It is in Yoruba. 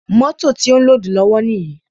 Mótò ti ó ń lódùù lọ́wọ́ níyì.